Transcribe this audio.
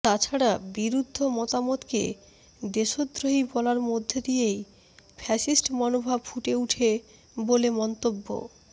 তাছাড়া বিরুদ্ধ মতামতকে দেশদ্রোহী বলার মধ্যে দিয়েই ফ্যাসিস্ট মনোভাব ফুটে ওঠে বলে মন্তব্য